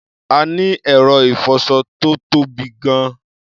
A ní ẹ̀rọ ìfọṣọ tó tóbi gan-an.